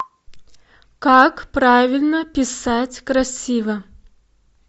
как правильно писать красиво